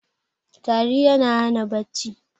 tari yana Hana bacci